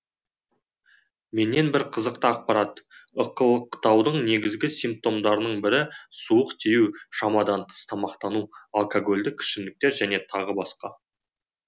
менен бір қызықты ақпарат ықылықтаудың негізгі симптомдарының бірі суық тию шамадан тыс тамақтану алкогольдік ішімдіктер және тағы басқа